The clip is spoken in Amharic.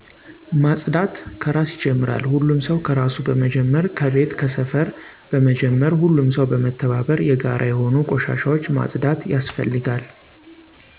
ማፅዳት ከራስ ይጀምራል ሁሉም ሰው ከራሱ በመጀመር ከቤት ከሰፈር በመጀመር ሁሉም ሰው በመተባበር የጋራ የሆኑ ቆሻሻዎች ማፅዳት ያስፈልጋል።